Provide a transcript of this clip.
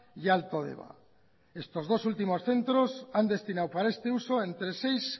y alto deba estos dos últimos centros han destinado para este uso entre seis